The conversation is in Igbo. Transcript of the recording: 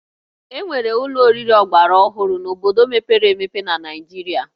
E nwere ụlọ oriri ọgbaraọhụrụ n'obodo mepere emepe na Naịjirịa